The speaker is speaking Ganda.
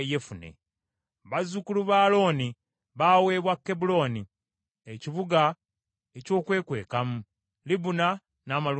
Bazzukulu ba Alooni baaweebwa Kebbulooni, ekibuga eky’okwekwekamu, Libuna n’amalundiro gaakyo,